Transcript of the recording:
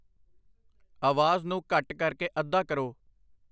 ਆਵਾਜ਼ ਨੂੰ ਘੱਟ ਕਰਕੇ ਅੱਧਾ ਕਰੋ।